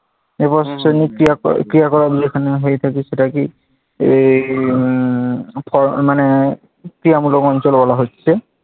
এবার প্রশাসনিক ক্রিয়াকালাপ যেখানে হয়ে থাকে, সেটাকেই এই উম মানে ক্রিয়ামূলক অঞ্চল বলা হচ্ছে।